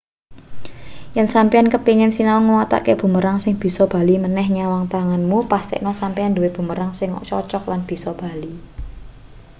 yen sampeyan kepingin sinau nyawatake bumerang sing bisa bali maneh menyang tanganmu pestekno sampeyan nduwe bumerang sing cocog lan bisa bali